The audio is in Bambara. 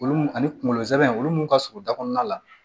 Olu mun ani kunkolo zɛmɛ olu mun ka surun da kɔnɔna la